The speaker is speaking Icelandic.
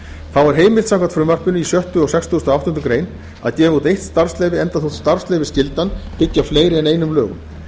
er heimilt samkvæmt frumvarpinu í sjöttu greinar og sextugustu og áttundu grein að gefa út eitt starfsleyfi enda þótt starfsleyfisskyldan byggi á fleiri en einum lögum